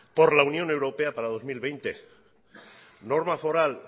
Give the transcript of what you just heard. por la unión europea para el dos mil veinte norma foral